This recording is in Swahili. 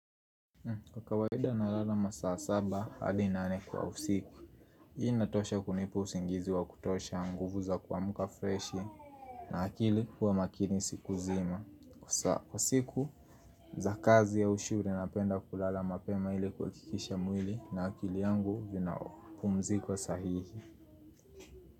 Kwa kawaida nalala masaa saba hadi nane kwa usiku Hii inatosha kunipa usingizi wa kutosha nguvu za kuamuka freshi na akili huwa makini siku zima Kwa siku za kazi au shure napenda kulala mapema ili kuhakikisha mwili na akili yangu vina pumziko sahihi.